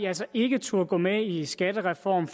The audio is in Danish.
altså ikke turdet gå med i skattereform